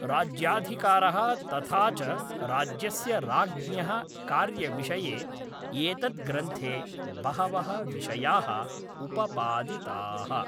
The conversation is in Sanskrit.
राज्याधिकारः तथा च राज्यस्य राज्ञः कार्यविषये एतद्ग्रन्थे बहवः विषयाः उपपादिताः